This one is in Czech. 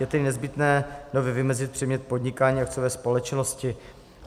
Je tedy nezbytné nově vymezit předmět podnikání akciové společnosti.